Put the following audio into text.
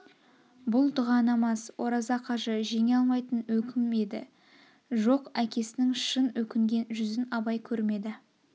бұл дұға намаз ораза қажы жеңе алмайтын өкім еді жоқ әкесінің шын өкінген жүзін абай көрмеді